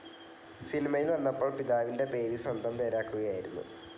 സിനിമയിൽ വന്നപ്പോൾ പിതാവിന്റെ പേര് സ്വന്തം പേരാക്കുകയായിരുന്നു.